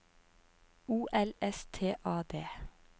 O L S T A D